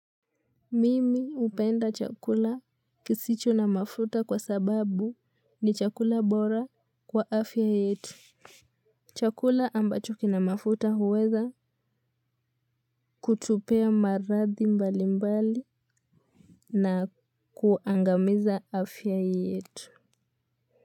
Mimi upenda chakula kisicho na mafuta kwa sababu ni chakula bora kwa afya yetu. Chakula ambacho kina mafuta huweza kutupea maradhi mbali mbali na kuangamiza afya yetu.